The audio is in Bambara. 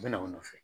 U bɛ na u nɔfɛ